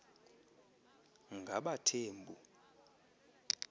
ngabathembu